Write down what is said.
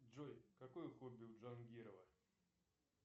джой какое хобби у джангирова